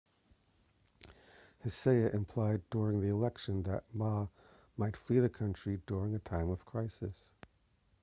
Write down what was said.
hsieh implied during the election that ma might flee the country during a time of crisis